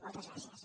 moltes gràcies